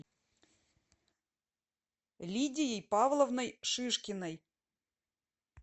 лидией павловной шишкиной